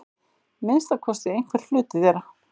Minnsta kosti einhver hluti þeirra.